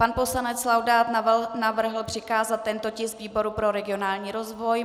Pan poslanec Laudát navrhl přikázat tento tisk výboru pro regionální rozvoj.